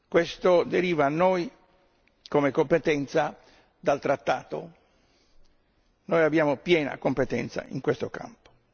Questo deriva a noi, come competenza, dal trattato, noi abbiamo piena competenza in questo campo.